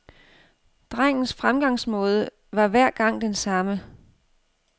Drengens fremgangsmåde var hver gang den samme.